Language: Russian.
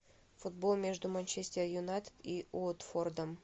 футбол между манчестер юнайтед и уотфордом